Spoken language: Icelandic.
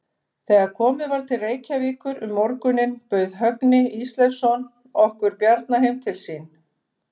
Þegar komið var til Reykjavíkur um morguninn bauð Högni Ísleifsson okkur Bjarna heim til sín.